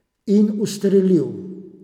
In ustrelil.